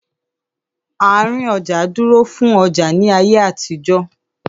Àárín ọjà dúró fún ọjà ní ayé àtijó.